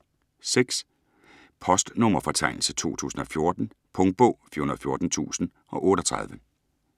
Postnummerfortegnelse 2014 Punktbog 414038